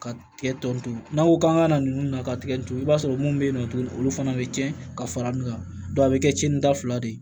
Ka kɛ tɔn n'an ko k'an ka na ninnu na ka tigɛ tugu i b'a sɔrɔ munnu be yen nɔ tuguni olu fana be cɛn ka fara ɲɔn kan a be kɛ cɛnida fila de ye